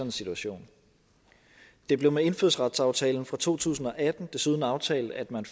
en situation det blev med indfødsretsaftalen fra to tusind og atten desuden aftalt at man